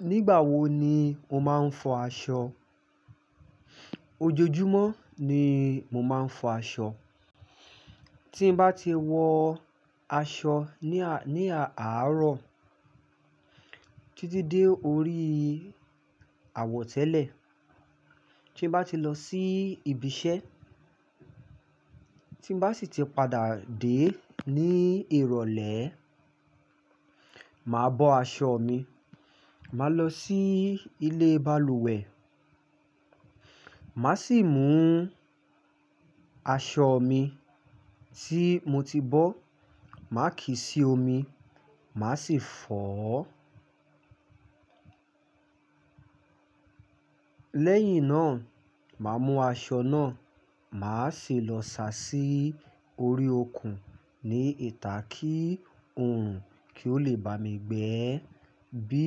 Nígbà wo ni o máa ń fọ aṣọ? Ojoojúmọ́ ni mo máa ń fọ aṣọ. Tí n bá ti wọ aṣọ ní à-- ní àárọ̀ títí dé orí àwọ̀tẹ́lẹ̀, tí n bá ti lọ sí ibi iṣẹ́, tí n bá sì ti padà dé ní ìrọ̀lẹ́, màá bọ aṣọ mi, màá lọ sí ilé balùwẹ̀, màá sì mú aṣọ mi tí mo ti bọ̀, màá kí sí omi, màá sì fọ̀ ọ́. Lẹ́yìn náà, màá mú aṣọ náà, mà á sì lọ sa sí orí okùn ní ìta kí òòrùn kì o lè bá mi gbẹ. Bí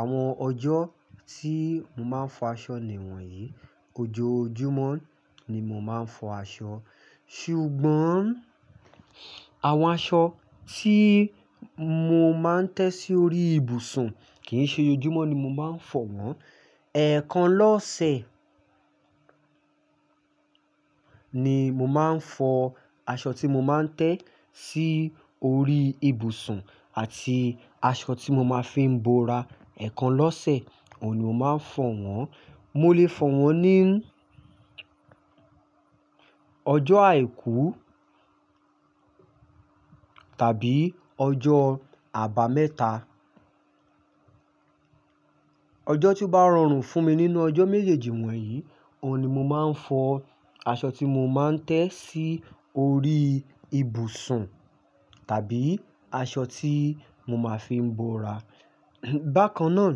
àwọn ọjọ́ tí mo máa ń fọ aṣọ nìwọ̀nyí, ojoojúmọ́ ni mo máa ń fọ aṣọ. Ṣùgbọ́n àwọn aṣọ tí mo máa ń tẹ́ sí orí ibùsùn kì í ṣe ojoojúmọ́ ni mo máa ń fọ wọ́n. Ẹ̀ẹ̀kan lọ́sẹ̀ ni mo máa ń fọ aṣọ tí mo máa ń tẹ́ sí orí ibùsùn àti aṣọ tí mo máa ń fi ń bo ra. Ẹ̀ẹ̀kan lọ́sẹ̀, òun ni mo máa ń fọ wọ́n. Mo lè fọ wọ́n ní ọjọ́ àìkú tàbí ọjọ́ àbámẹ́ta. Ọjọ́ tí ó bá rọrùn fún mi nínú ọjọ́ méjèèjì wọ̀nyí, òun ni mo máa ń fọ aṣọ tí mo máa ń tẹ́ sí orí ibùsùn tàbí aṣọ tí mo máa ń fi ń bo ra. Bákan náà,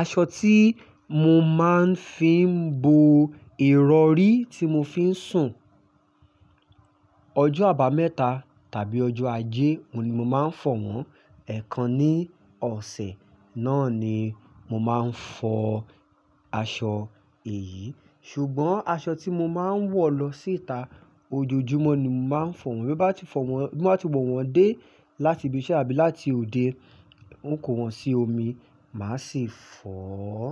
aṣọ tí mo máa ń fi ń bo ìrọrí tí mo fi ń sùn, ọjọ́ àbámẹ́ta tàbí ọjọ́ ajé, òun ni mo máa ń fọ wọ́n. Ẹ̀ẹ̀kan ní ọ̀sẹ̀ náà ni mo máa ń fọ aṣọ èyí. Ṣùgbọ́n aṣọ tí mo máa ń wọ̀ lọ síta, ojoojúmọ́ ni mo máa ń fọ wọ́n. Bí n bá ti fọ wọ́n-- bí n bá ti wọ̀ wọ́n dé láti ibi iṣẹ́ àbí láti òde, n kò wọ̀n sí omi, màá sì fọ̀ ọ́.